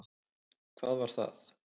Hvað var það?